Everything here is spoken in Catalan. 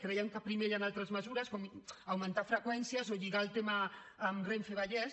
creiem que primer hi han altres mesures com augmentar freqüències o lligar el tema amb renfe vallès